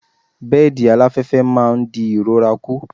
Bẹ́ẹ̀dì aláfẹ́fẹ́ máa ń di ìrora kù.